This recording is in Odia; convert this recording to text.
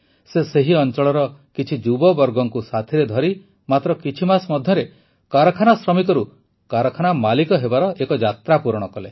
ସେ ସେହି ଅଂଚଳର କିଛି ଯୁବବର୍ଗଙ୍କୁ ସାଥିରେ ଧରି ମାତ୍ର କିଛି ମାସ ମଧ୍ୟରେ କାରଖାନା ଶ୍ରମିକରୁ କାରଖାନା ମାଲିକ ହେବାର ଏକ ଯାତ୍ରା ପୂରଣ କଲେ